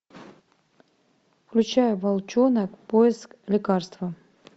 включай волчонок поиск лекарства